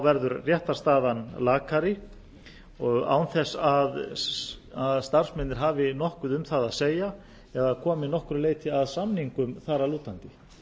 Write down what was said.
verður réttarstaðan lakari án þess að starfsmennirnir hafi nokkuð um það að segja eða komi að nokkru leyti að samningum þar að lútandi